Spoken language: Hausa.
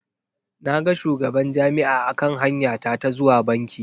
Na ga shugaban Jami'a a kan hanya ta ta zuwa banki.